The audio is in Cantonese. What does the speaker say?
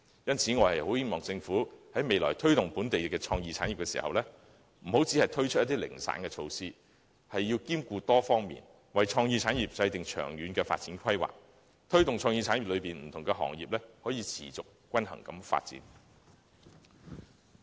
因此，我希望政府未來在推動本地創意產業時，不要只推出零散的措施，要兼顧多方面的事宜，為創意產業制訂長遠發展規劃，以推動創意產業內不同行業持續及均衡地發展。